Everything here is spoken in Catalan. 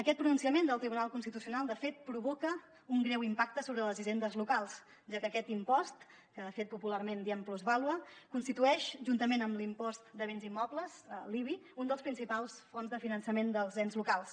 aquest pronunciament del tribunal constitucional de fet provoca un greu impacte sobre les hisendes locals ja que aquest impost que de fet popularment en diem plusvàlua constitueix juntament amb l’impost de béns immobles l’ibi una de les principals fonts de finançament dels ens locals